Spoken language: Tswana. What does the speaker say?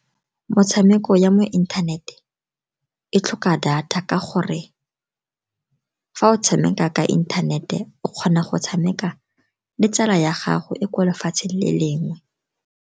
Metshameko ya mo inthanete e tlhoka data, ka gore fa o tshameka ka inthanete o kgona go tshameka le tsala ya gago e kwa lefatshe le lengwe.